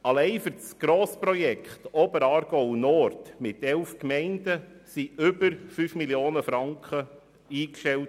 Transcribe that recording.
Alleine für das Grossprojekt Oberaargau Nord mit 11 Gemeinden wurden über 5 Mio. Franken eingestellt.